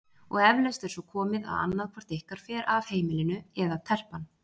Og eflaust er svo komið að annað hvort ykkar fer af heimilinu- eða telpan.